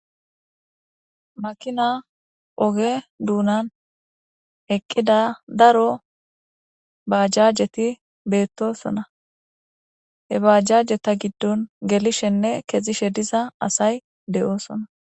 Makina oge dunani eqida daro bajajeti betosona he bajajeta gidon gelishenee ke'ishe diza asay do'sona